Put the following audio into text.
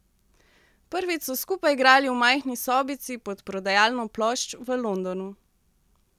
Prvič so skupaj igrali v majhni sobici pod prodajalno plošč v Londonu.